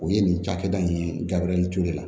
O ye nin cakɛda in ye gabiriyɛri ture